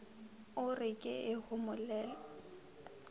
o re ke e homolele